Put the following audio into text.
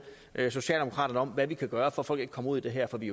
socialdemokraterne om hvad vi kan gøre for at folk ikke kommer ud i det her for vi